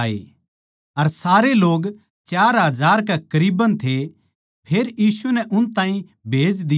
अर सारे लोग चार हजार कै करीबन थे फेर यीशु नै उन ताहीं भेज दिया